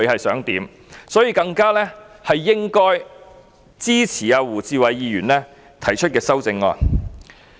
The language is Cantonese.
所以，我們更應支持胡志偉議員提出的修正案。